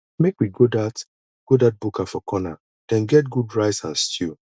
make we go dat go dat buka for corner dem get good rice and stew